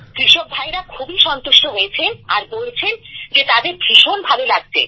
কৃষক ভাইরা খুবই সন্তুষ্ট হয়েছেন আর বলছেন যে তাদের ভীষণ ভালো লাগছে